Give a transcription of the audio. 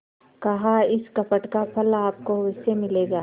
कहाइस कपट का फल आपको अवश्य मिलेगा